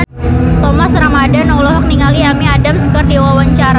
Thomas Ramdhan olohok ningali Amy Adams keur diwawancara